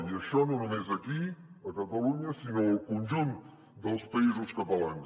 i això no només aquí a catalunya sinó al conjunt dels països catalans